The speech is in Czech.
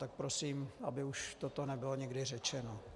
Tak prosím, aby už toto nebylo nikdy řečeno.